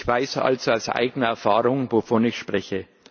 Ich weiß also aus eigener Erfahrung, wovon ich spreche.